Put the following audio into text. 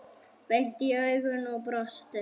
Beint í augun og brosti.